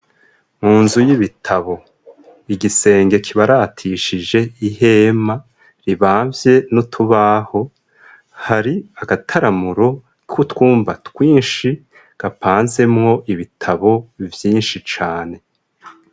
Mu nzu y'ibitabo, Igisenge kibaratishije ihema ribamvye n' utubaho, hari agataramuro k'utwumba twinshi, gapansemwo ibitabo vyinshi cane.